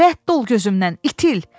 Rədd ol gözümdən, itil!